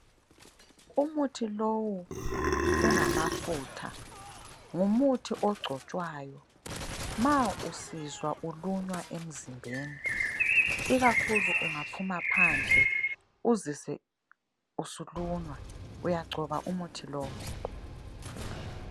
Umuthi lowu ungamafutha ,ngumuthi ogcotshwayo ma usizwa ulunywa emzimbeni ikakhulu ungaphuma phandle uzizwe usulunywa, uyagcoba umuthi lowu.